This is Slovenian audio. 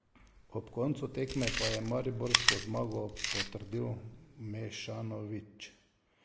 Ob koncu tekme pa je mariborsko zmago potrdil Mešanović.